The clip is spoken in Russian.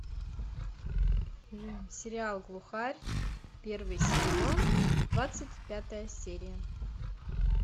сериал глухарь первый сезон двадцать пятая серия